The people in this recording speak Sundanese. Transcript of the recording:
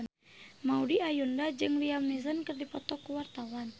Maudy Ayunda jeung Liam Neeson keur dipoto ku wartawan